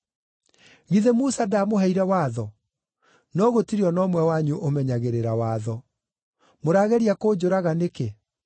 Githĩ Musa ndaamũheire watho? No gũtirĩ o na ũmwe wanyu ũmenyagĩrĩra watho. Mũrageria kũnjũraga nĩkĩ?”